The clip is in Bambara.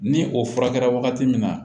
Ni o furakɛra wagati min na